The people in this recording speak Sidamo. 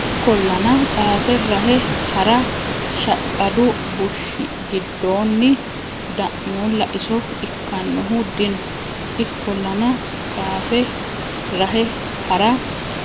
Ikkollana qaafe rahe ha ra shaqqadu bushshi giddonni da muulla iso ikkannohu dino Ikkollana qaafe rahe ha ra